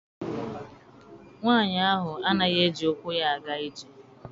Nwaanyi ahụ anaghịzi eji ukwu ya aga ije.